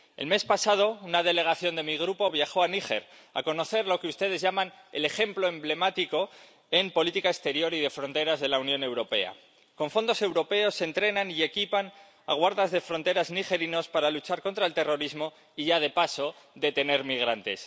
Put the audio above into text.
El mes pasado, una delegación de mi Grupo viajó a Níger a conocer lo que ustedes llaman el ejemplo emblemático en política exterior y de fronteras de la Unión Europea con fondos europeos se entrenan y equipan a guardas de fronteras nigerinos para luchar contra el terrorismo y —ya de paso— detener migrantes.